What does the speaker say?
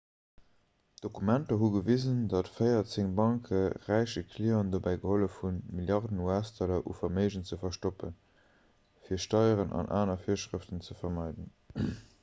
d'dokumenter hu gewisen datt véierzéng banke räiche clienten dobäi gehollef hunn milliarden us-dollar u verméigen ze verstoppen fir steieren an aner virschrëften ze vermeiden